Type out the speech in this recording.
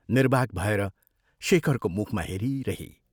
निर्वाक् भएर शेखरको मुखमा हेरिरही।